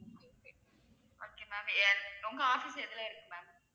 okay ma'am எ~ உங்க office எதுல இருக்கு ma'am